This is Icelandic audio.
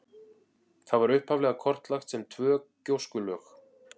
Það var upphaflega kortlagt sem tvö gjóskulög.